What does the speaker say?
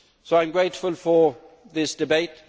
I am grateful for this debate.